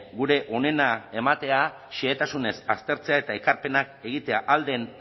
gure onena ematea xehetasunez aztertzea eta ekarpenak egitea ahal den